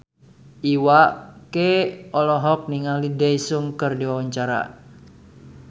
Iwa K olohok ningali Daesung keur diwawancara